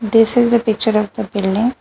This is the picture of the building.